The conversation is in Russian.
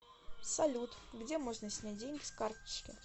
салют где можно снять деньги с карточки